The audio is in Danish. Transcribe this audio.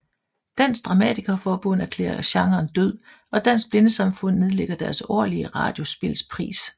Dansk dramatikerforbund erklærer genren død og Dansk Blindesamfund nedlægger deres årlige radiospilspris